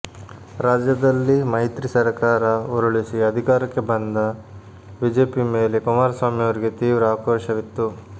ರಾಜ್ಯದಲ್ಲಿ ಮೈತ್ರಿ ಸರ್ಕಾರ ಉರುಳಿಸಿ ಅಧಿಕಾರಕ್ಕೆ ಬಂದ ಬಿಜೆಪಿ ಮೇಲೆ ಕುಮಾರಸ್ವಾಮಿ ಅವರಿಗೆ ತೀವ್ರ ಆಕ್ರೋಶವಿತ್ತು